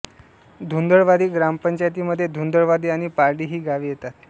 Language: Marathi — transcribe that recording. धुंदळवाडी ग्रामपंचायतीमध्ये धुंदळवाडी आणि पारडी ही गावे येतात